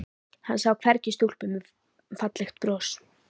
Hann sá hvergi stúlkuna með fallega brosið.